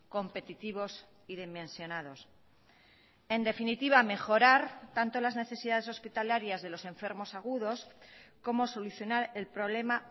competitivos y dimensionados en definitiva mejorar tanto las necesidades hospitalarias de los enfermos agudos como solucionar el problema